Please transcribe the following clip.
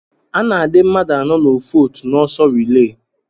Ana adi mmadu anọ na ofu otu na ọsọ rile.